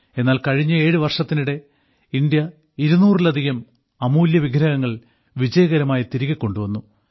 എന്നാൽ കഴിഞ്ഞ ഏഴ് വർഷത്തിനിടെ ഇന്ത്യ 200 ലധികം അമൂല്യ വിഗ്രഹങ്ങൾ വിജയകരമായി തിരികെ കൊണ്ടുവന്നു